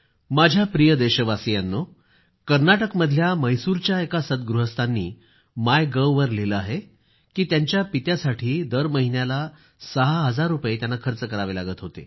माझ्या प्रिय देशवासियांनो कर्नाटकमधल्या म्हैसूरच्या एका सद्गृहस्थांनी मायगव्हवर लिहिलेले आहे की त्यांच्या पित्यासाठी दरमहिन्याला सहा हजार रूपये त्यांना खर्च करावे लागत होते